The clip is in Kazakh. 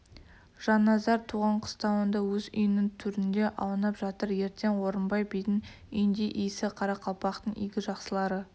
жанназар туған қыстауында өз үйінің төрінде аунап жатыр ертең орынбай бидің үйінде иісі қарақалпақтың игі жақсылары